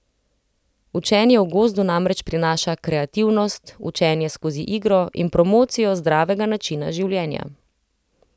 Učenje v gozdu namreč prinaša kreativnost, učenje skozi igro in promocijo zdravega načina življenja.